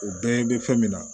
U bɛɛ bɛ fɛn min na